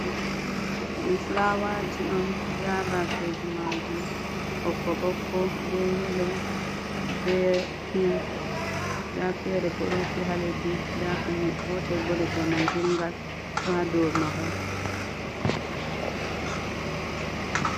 Ɗum fulawaji on nda bafeji majum ɓokko ɓokko bei yelo bei pink nda fere bo ɗo rufi ha leddi nda kanjum gotel bo leggal man jungal ɗo ha dow mahol.